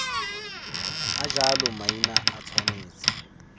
a jalo maina a tshwanetse